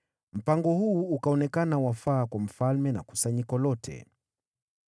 Mpango huu ukaonekana wafaa kwa mfalme na kusanyiko lote.